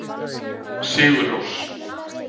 Sigurrós